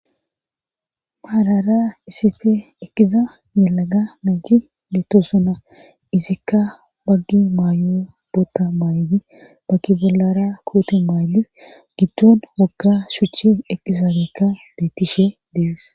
Malara isife eqqiza yelaga mayji beettosona izikka baggi maayo bota maaydi baggi bollara koote maaydi giddon wokka shuchi eqqizaagekka beettishe dees.